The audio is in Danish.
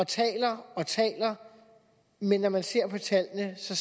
taler og taler men når man ser på tallene ser